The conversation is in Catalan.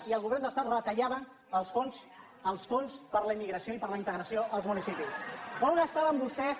i el govern de l’estat retallaven els fons per a la immigració i per a la integració als municipis on estaven vostès